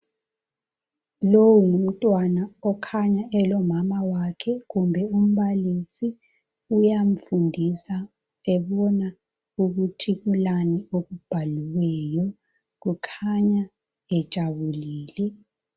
Lowo ngumntwana okhanya elomamawakhe kumbe umbalisi uyamfundisa ebona ukuthi kulani okubhaliweyo kukhanya bejabulile.